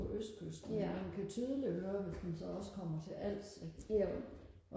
på østkysten men man kan tydeligt høre hvis man så også kommer til Als ikke